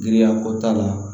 Giriya ko t'a la